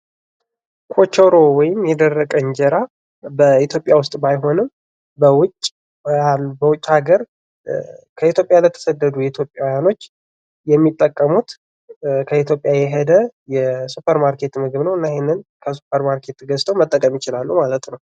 ኮቸሮ ወይም የደረቀ እንጀራ በኢትዮጵያ ባይሆንም በውጭ ሀገር ከኢትዮጵያ ለተሰደዱ ኢትዮጵያውያኖች የሚጠቀሙት ከኢትዮጵያ የሄደ የሱፐር ማርኬት ምግብ ነው ።እሄን ከሱፐር ማርኬት ገዝተው መጠቀም ይቻላሉ።